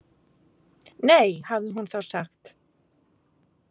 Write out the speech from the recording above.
Nei, hafði hún þá sagt.